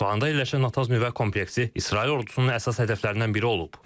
İsfahanda yerləşən Natanz nüvə kompleksi İsrail ordusunun əsas hədəflərindən biri olub.